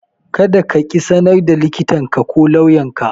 Kada kaƙi sanar da likitanka ko lauyanka.